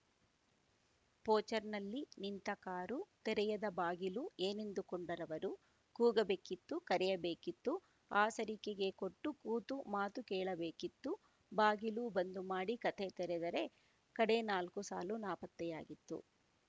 ಪೋಚ್‌ರ್‍ನಲ್ಲಿ ನಿಂತ ಕಾರು ತೆರೆಯದ ಬಾಗಿಲು ಏನೆಂದುಕೊಂಡರವರು ಕೂಗಬೇಕಿತ್ತು ಕರೆಯಬೇಕಿತ್ತು ಆಸರಿಕೆಗೆ ಕೊಟ್ಟು ಕೂತು ಮಾತು ಕೇಳಬೇಕಿತ್ತು ಬಾಗಿಲು ಬಂದು ಮಾಡಿ ಕಥೆ ತೆರೆದರೆ ಕಡೇ ನಾಲ್ಕು ಸಾಲು ನಾಪತ್ತೆಯಾಗಿತ್ತು